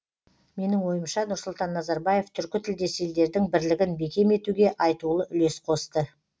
менің ойымша нұрсұлтан назарбаев түркі тілдес елдердің бірлігін бекем етуге айтулы үлес қосты